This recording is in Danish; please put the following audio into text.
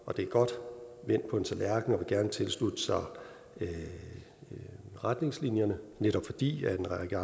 og det er godt vendt på en tallerken og vil gerne tilslutte sig retningslinjerne netop fordi en række